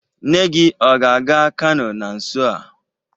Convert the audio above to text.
Nne gi ọ ga-aga Kano na nso a?